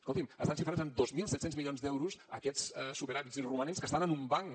escolti’m estan xifrats en dos mil set cents milions d’euros aquests superàvits i romanents que estan en un banc